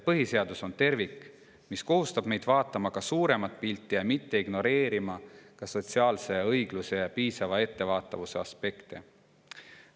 Põhiseadus on tervik, mis kohustab meid vaatama ka suuremat pilti ja mitte ignoreerima sotsiaalse õigluse ja piisava ettevaatamise aspekte.